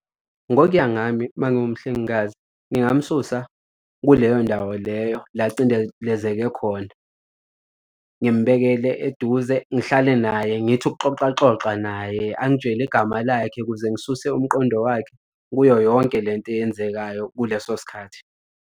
Ngokuya ngami uma ngiwumhlengikazi ngingamsusa kuleyo ndawo leyo la acindelezeke khona, ngimbekele eduze, ngihlale naye ngithi ukuxoxa xoxa naye, angitshele igama lakhe ukuze ngisuse umqondo wakhe kuyo yonke le nto eyenzekayo kuleso sikhathi.